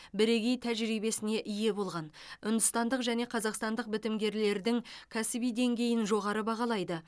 бірегей тәжірибесіне ие болған үндістандық және қазақстандық бітімгерлердің кәсіби деңгейін жоғары бағалайды